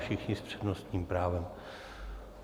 Všichni s přednostním právem.